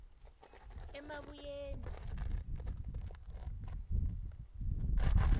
emabuyeni